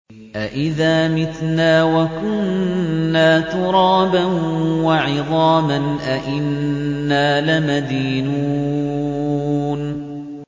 أَإِذَا مِتْنَا وَكُنَّا تُرَابًا وَعِظَامًا أَإِنَّا لَمَدِينُونَ